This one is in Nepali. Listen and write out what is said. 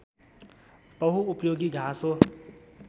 बहुउपयोगी घाँस हो